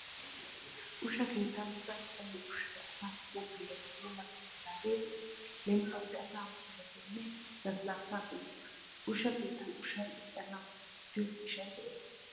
Ushsha keettan daro qommo ushshay asaa mattoyiyaageenne mattoyennagee de'ees leemisuwaassi asaa mattoyiyaageenne lasilaassa qommota. Ushsha keettan ushshay irxxenna mala wottiyo miishshay de'ees.